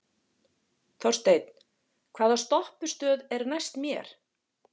Þorsteinn, hvaða stoppistöð er næst mér?